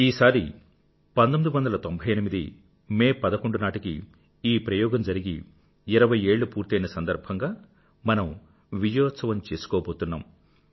ఈసారి మే 11 1998 నాటికి ఆ ప్రయోగం జరిగి ఇరవై ఏళ్ళు పూర్తయిన సందర్భంగా మనం విజయోత్సవం చేసుకోబోతున్నాం